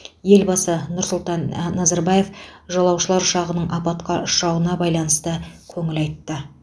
елбасы нұр сұлтан назарбаев жолаушылар ұшағының апатқа ұшырауына байланысты көңіл айтты